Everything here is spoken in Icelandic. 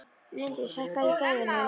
Líndís, hækkaðu í græjunum.